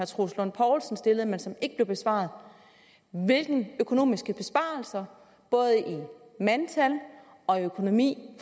troels lund poulsen stillede men som ikke blev besvaret hvilke økonomiske besparelser både i mandtal og i økonomi